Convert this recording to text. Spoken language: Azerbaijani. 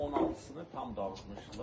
16-sını tam dağıtmışdılar.